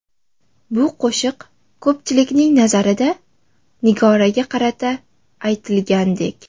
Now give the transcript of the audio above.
Bu qo‘shiq ko‘pchilikning nazarida Nigoraga qarata aytilgandek!